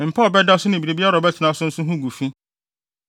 “ ‘Mpa a ɔbɛda so ne biribiara a ɔbɛtena so nso ho gu fi.